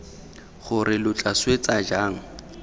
gore lo tla swetsa jang